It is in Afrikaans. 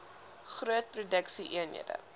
groot produksie eenhede